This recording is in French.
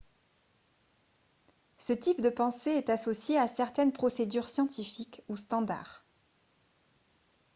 ce type de pensée est associé à certaines procédures scientifiques ou standard